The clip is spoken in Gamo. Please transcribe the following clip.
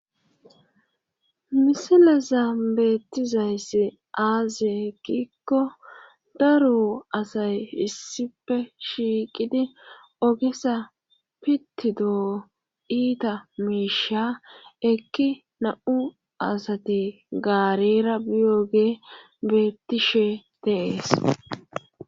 Misileza beettizayssi aaze hekikko daro asay issife shiiqidi ogisa pittidoo iita miisha ekki na'u asati gaarera biyoge beettishe teees